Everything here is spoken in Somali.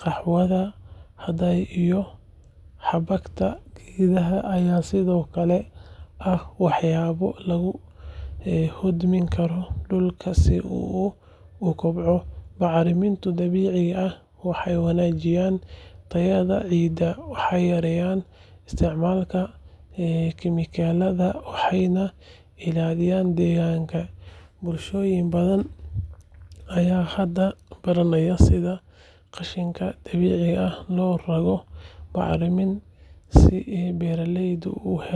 qaxwaha hadhay iyo xabagta geedaha ayaa sidoo kale ah waxyaabo lagu hodmin karo dhulka si uu u kobco. Bacriminta dabiiciga ah waxay wanaajisaa tayada ciidda, waxay yareysaa isticmaalka kiimikooyinka, waxayna ilaalisaa deegaanka. Bulshooyin badan ayaa hadda baranaya sida qashinka dabiiciga ah loogu rogo bacrimin si beeralaydu u helaan.